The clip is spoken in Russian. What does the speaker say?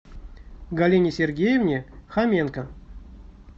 галине сергеевне хоменко